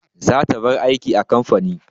Zata bar aiki a kamfani.